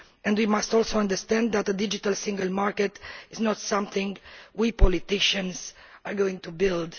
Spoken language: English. We must also understand that the digital single market is not something we politicians are going to build.